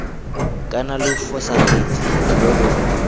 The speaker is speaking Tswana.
kana lo fosagatse lo lo